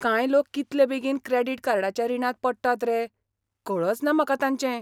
कांय लोक कितले बेगीन क्रॅडिट कार्डाच्या रिणांत पडटात रे, कळचना म्हाका तांचें.